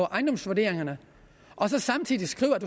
ejendomsvurderingerne og samtidig skriver at